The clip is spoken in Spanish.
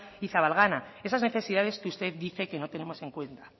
y zabalgana esas necesidades que usted dice que no tenemos en cuenta